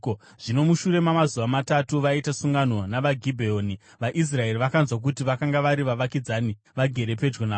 Zvino mushure mamazuva matatu vaita sungano navaGibheoni, vaIsraeri vakanzwa kuti vakanga vari vavakidzani, vagere pedyo navo.